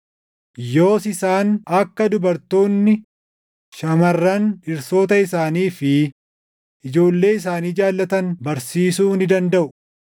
Yoos isaan akka dubartoonni shamarran dhirsoota isaanii fi ijoollee isaanii jaallatan barsiisuu ni dandaʼu;